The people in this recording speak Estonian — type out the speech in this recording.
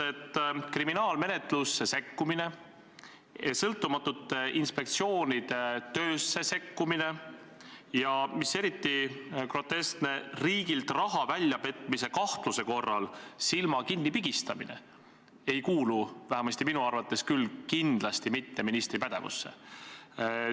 Kriminaalmenetlusse sekkumine, sõltumatute inspektsioonide töösse sekkumine, ja mis eriti groteskne, riigilt raha väljapetmise kahtluse korral silma kinnipigistamine ei kuulu vähemalt minu arvates küll kindlasti mitte ministri pädevusse.